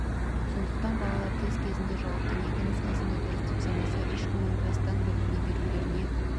сондықтан балалар тест кезінде жауаптың екі нұсқасын да дұрыс деп санаса еш күмәнданбастан белгілей беруілеріне